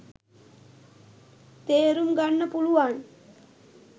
තේරුම් ගන්න පුළුවන්